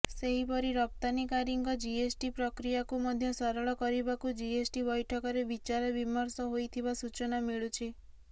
ସେହିପରି ରପ୍ତାନୀକାରୀଙ୍କ ଜିଏସଟି ପ୍ରକ୍ରୀୟାକୁ ମଧ୍ୟ ସରଳ କରିବାକୁ ଜିଏସଟି ବୈଠକରେ ବିଚାର ବିମର୍ଷ ହୋଇଥିବା ସୂଚନା ମିଳୁଛି